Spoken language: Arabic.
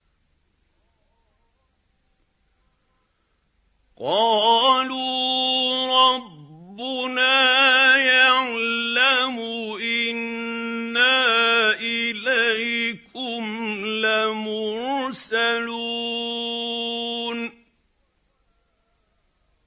قَالُوا رَبُّنَا يَعْلَمُ إِنَّا إِلَيْكُمْ لَمُرْسَلُونَ